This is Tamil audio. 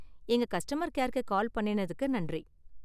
எங்க கஸ்டமர் கேர்க்கு கால் பண்ணுனதுக்கு நன்றி.